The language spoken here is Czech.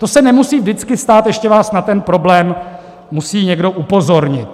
To se nemusí vždycky stát, ještě vás na ten problém musí někdo upozornit.